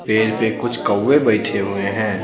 पेड़ पे कुछ कौवे बैठे हुए हैं।